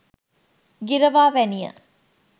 ගිරවා වැනිය